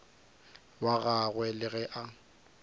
wa gagwe le ge a